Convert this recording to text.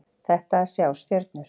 Þetta að sjá stjörnur.